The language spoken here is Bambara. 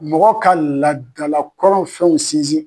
Mɔgɔ ka laadalakɔrɔ fɛnw sinzin.